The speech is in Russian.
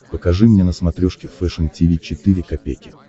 покажи мне на смотрешке фэшн ти ви четыре ка